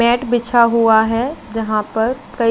बेठ बिछा हुआ है जहा पर कई--